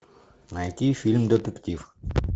найти фильм детектив